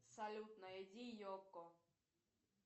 салют найди йоко